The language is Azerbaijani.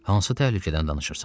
Hansı təhlükədən danışırsan?